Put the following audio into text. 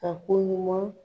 A ko ɲuman